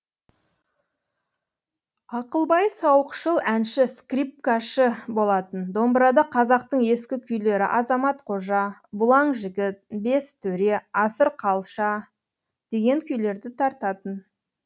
ақылбай сауықшыл әнші скрипкашы болатын домбырада қазақтың ескі күйлері азамат қожа бұлаң жігіт бес төре асыр қалша деген күйлерді тартатын